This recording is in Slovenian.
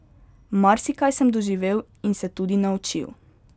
Marsikaj sem doživel in se tudi naučil.